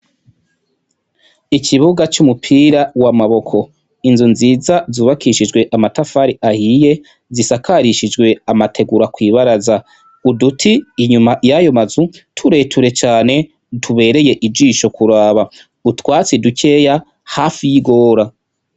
Ikibuga c'umupira w'amaboko, inzu nziza zubakishijwe amatafari ahiye, zisakarishijwe amategura kwibaraza, uduti inyuma yayo mazu tureture cane tubereye ijisho kuraba, utwatsi dukeya hafi y'igora.